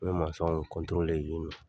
U bɛ masɔnw yen nɔ